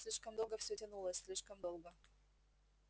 слишком долго все тянулось слишком долго